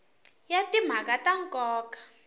ya timhaka ta nkoka a